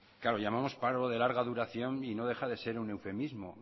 claro llamamos paro de larga duración y no deja de ser un eufemismo